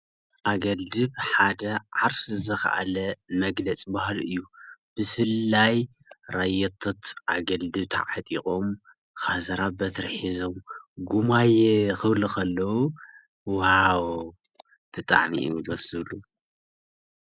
ኣገልድም ሓደ ዓርሱ ዝኻኣለ መግለፂ ባህሊ እዩ፡፡ ብፍላይ ራየቶት ኣገልድም ተዓጢቐም ከዘራ በትሪ ሒዞም ጉማየ ክብሉ ከለው ዋው! ብጣዕሚ እዮም ደስ ዝብሉ፡፡